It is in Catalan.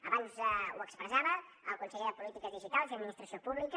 abans ho expressava el conseller de polítiques digitals i administració pública